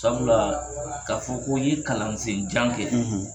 Sabula k'a fɔ ko i ye kalansen jan kɛ,